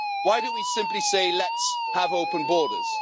Why don't we simply say let's have open borders'?